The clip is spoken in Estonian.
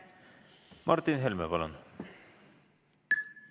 Martin Helme, palun!